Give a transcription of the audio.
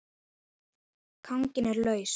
Kraginn er laus.